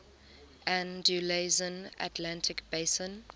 andalusian atlantic basin